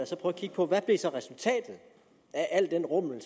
og kigge på hvad der så blev resultatet af al den rumlen